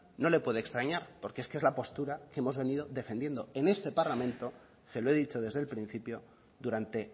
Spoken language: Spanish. no le puede extrañar porque es que es la postura que hemos venido defendiendo en este parlamento se lo he dicho desde el principio durante